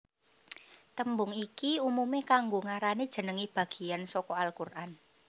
Tembung iki umume kanggo ngarani jenenge bageyan saka al Quran